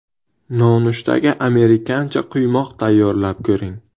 Nonushtaga amerikancha quymoq tayyorlab ko‘ring.